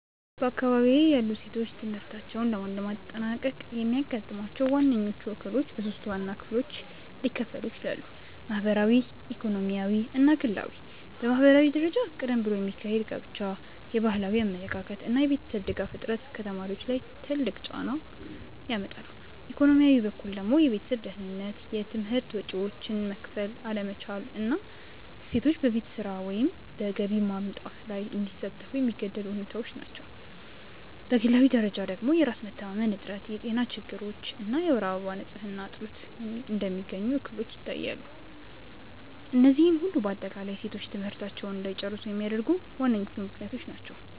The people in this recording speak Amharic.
በአካባቢዬ ያሉ ሴቶች ትምህርታቸውን ላለማጠናቀቅ የሚያጋጥሟቸው ዋነኞቹ እክሎች በሶስት ዋና ክፍሎች ሊከፈሉ ይችላሉ። ማህበራዊ፣ ኢኮኖሚያዊ እና ግላዊ። በማህበራዊ ደረጃ ቀደም ብሎ የሚካሄድ ጋብቻ፣ የባህላዊ አመለካከት እና የቤተሰብ ድጋፍ እጥረት ከተማሪዎች ላይ ትልቅ ጫና ያመጣሉ፤ ኢኮኖሚያዊ በኩል ደግሞ የቤተሰብ ድህነት፣ የትምህርት ወጪዎችን መክፈል አለመቻል እና ሴቶች በቤት ስራ ወይም በገቢ ማምጣት ላይ እንዲሳተፉ የሚገደዱ ሁኔታዎች ናቸው፤ በግላዊ ደረጃ ደግሞ የራስ መተማመን እጥረት፣ የጤና ችግሮች እና የወር አበባ ንፅህና እጥረት እንደሚገኙ እክሎች ይታያሉ፤ እነዚህ ሁሉ በአጠቃላይ ሴቶች ትምህርታቸውን እንዳይጨርሱ የሚያደርጉ ዋነኞቹ ምክንያቶች ናቸው።